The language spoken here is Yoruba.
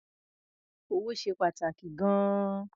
Owó ṣe pàtàkì gan-an.